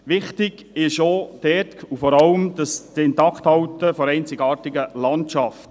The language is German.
Wichtig ist auch dort vor allem das Intakthalten der einzigartigen Landschaft.